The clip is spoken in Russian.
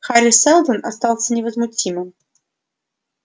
хари сэлдон остался невозмутимым